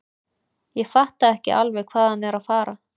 Ég fatta ekki alveg hvað hann er að fara.